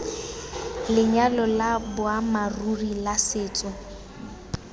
lenyalo la boammaaruri la setso